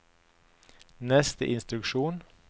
neste instruksjon